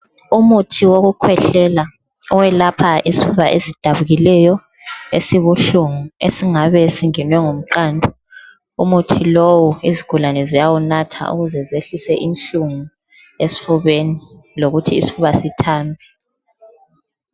Umuthi wokukhwehlela owelapha isifuba ezidabukileyo ,esibuhlungu esingabe singenwe ngumqando .umuthi lowu izigulane ziyawunatha ukuze zehlise inhlungu esifubeni lokuthi isofuba sithambe.